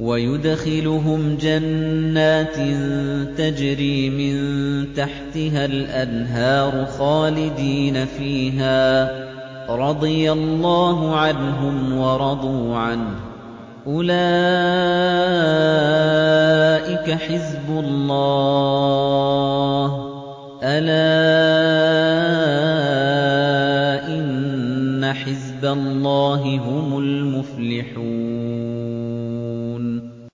وَيُدْخِلُهُمْ جَنَّاتٍ تَجْرِي مِن تَحْتِهَا الْأَنْهَارُ خَالِدِينَ فِيهَا ۚ رَضِيَ اللَّهُ عَنْهُمْ وَرَضُوا عَنْهُ ۚ أُولَٰئِكَ حِزْبُ اللَّهِ ۚ أَلَا إِنَّ حِزْبَ اللَّهِ هُمُ الْمُفْلِحُونَ